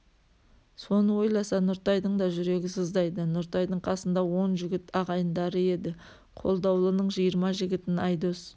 соны ойласа нұртайдың да жүрегі сыздайды нұртайдың қасында он жігіт ағайындары еді қолдаулының жиырма жігітін айдос